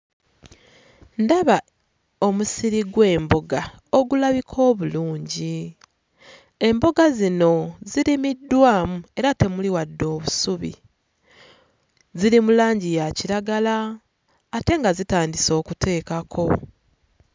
Ndaba omusiri gw'emboga ogulabika obulungi. Emboga zino zirimiddwamu era temuli wadde obusubi ziri mu langi ya kiragala ate nga zitandise okuteekako.